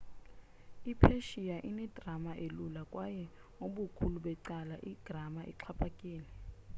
i-persian ine-grama elula kwaye ubukhulu becala igrama ixhaphakile